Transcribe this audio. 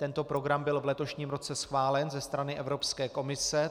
Tento program byl v letošním roce schválen ze strany Evropské komise.